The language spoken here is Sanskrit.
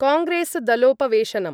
कांग्रेसदलोपवेशनम्